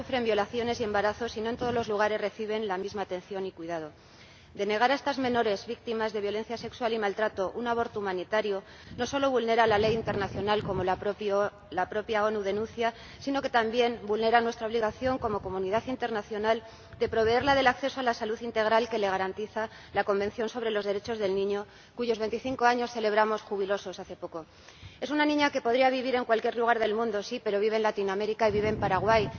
la propia ONU denuncia, sino que también vulnera nuestra obligación como comunidad internacional de proveerla del acceso a la salud integral que le garantiza la Convención sobre los Derechos del Niño, cuyos 25 años celebramos jubilosos hace poco. Es una niña que podría vivir en cualquier lugar del mundo, sí, pero vive en Latinoamérica y vive en Paraguay.